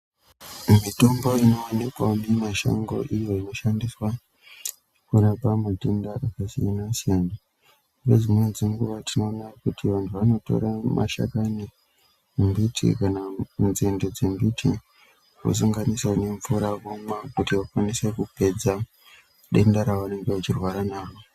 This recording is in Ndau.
Mitombo inoonekwa mumishango iyo inoshandiswa kurapa matenda akasiyana siyana nedzimweni dzenguwa tinoona kuti vanthu vanotora mashakani embiti kana nzinde nzembiti vosanganisa nemvura vomwa kuti vakwanise kupedza denda ravanenge vachirwara naro.